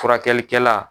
Furakɛlikɛla